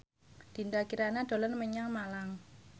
Dinda Kirana dolan menyang Malang